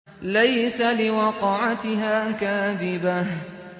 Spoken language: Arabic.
لَيْسَ لِوَقْعَتِهَا كَاذِبَةٌ